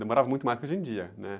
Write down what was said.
Demorava muito mais que hoje em dia, né?